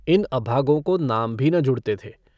इन अभागों को नाम भी न जुड़ते थे।